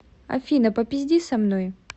афина попизди со мной